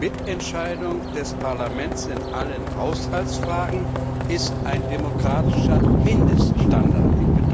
Mitentscheidung des Parlaments in allen Haushaltsfragen ist ein demokratischer Mindeststandard.